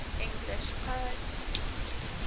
english poets